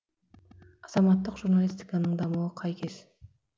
азаматтық журналистиканың дамуы қай кез